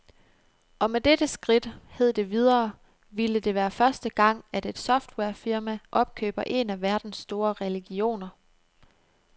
Og med dette skridt, hed det videre, ville det være første gang, at et softwarefirma opkøber en af verdens store religioner.